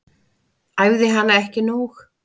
Æfði hana ekki nóg.